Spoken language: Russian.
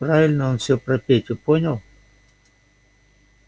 правильно он все про петю понял